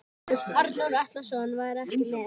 Arnór Atlason var ekki með.